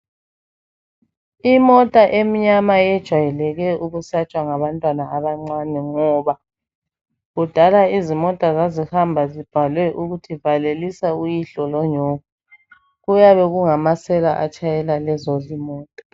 Imota emnyama yejwayeleke ukwusatshwa ngsbantwana abancane ngoba kudala izimota zazihamba libhalwe ukuthi valelisa uyihlo lonyoko. Kuyabe kungamasela atshayela lezo zimota.